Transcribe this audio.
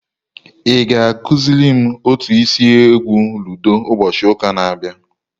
Ị ga-akụziri m otu esi egwu ludo ụbọchị ụka na-abịa?